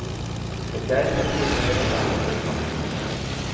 Mér gæti ekki verið meira sama hvernig mark þetta var.